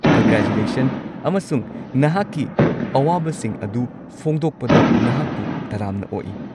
Congratulation ꯑꯃꯁꯨꯡ ꯅꯍꯥꯛꯀꯤ ꯑꯋꯥꯕꯁꯤꯡ ꯑꯗꯨ ꯐꯣꯡꯗꯣꯛꯄꯗ ꯅꯍꯥꯛꯄꯨ ꯇꯔꯥꯝꯅ ꯑꯣꯛꯏ꯫